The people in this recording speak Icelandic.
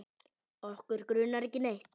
Okkur grunar ekki neitt.